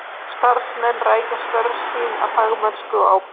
Starfsmenn rækja störf sín af fagmennsku og ábyrgð.